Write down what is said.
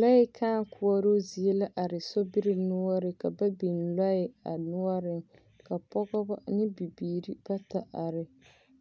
Lɔɛ kãã koɔroo zie la are sobiri noɔreŋ ka ba biŋ lɔɛ a noɔreŋ, ka pɔpɔbɔ ne bibiiri bata are.